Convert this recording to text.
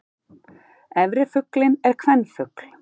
Efri fuglinn er kvenfugl.